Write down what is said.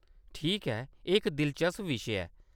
ठीक ऐ। एह्‌‌ इक दिलचस्प विशे ऐ।